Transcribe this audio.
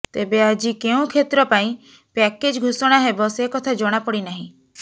ତେବେ ଆଜି କେଉଁ କ୍ଷେତ୍ର ପାଇଁ ପ୍ୟାକେଜ ଘୋଷଣା ହେବ ସେକଥା ଜଣାପଡ଼ିନାହିଁ